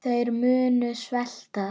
Þeir munu svelta.